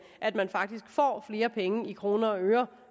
at man faktisk får flere penge i kroner og øre